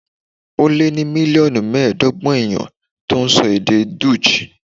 Ó lé ní mílíọ̀nù mẹ́ẹ̀ẹ́dọ́gbọ̀n èèyàn tó ń sọ èdè Dutch